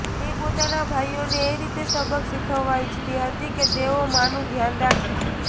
તે પોતાના ભાઈઓને એ રીતે સબક શીખવવા ઈચ્છતી હતી કે તેઓ માનું ધ્યાન રાખે